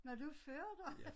Nåh du er ført her